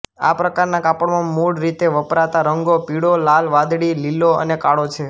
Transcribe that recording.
આ પ્રકારના કાપડમાં મૂળ રીતે વપરાતા રંગો પીળો લાલ વાદળી લીલો અને કાળો છે